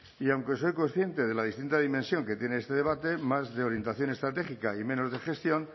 y aunque soy consciente de la distinta dimensión que tiene este debate más de orientación estratégica y menos de gestión